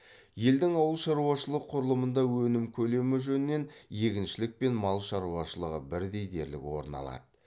елдің ауыл шаруашылық құрылымында өнім көлемі жөнінен егіншілік пен мал шаруашылығы бірдей дерлік орын алады